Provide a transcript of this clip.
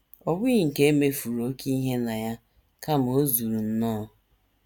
Ọ bụghị nke e mefuru oké ihe na ya, kama o zuru nnọọ. ”